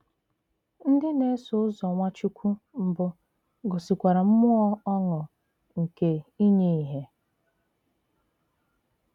Ndì na-èsò ụzọ Nwàchùkwù mbụ gòsìkwàrà mmùọ̀ ọṅụ̀ nke ìnyè ìhé.